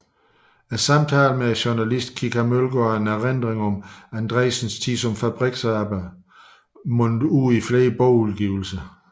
Samtaler med journalisten Kika Mølgaard om erindringer om Andreasens tid som fabriksarbejder mundede ud i flere bogudgivelser